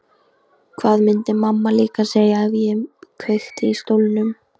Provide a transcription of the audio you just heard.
Hvað myndi mamma líka segja ef ég kveikti í stólnum?